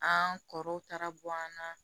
An kɔrɔw taara bɔ an na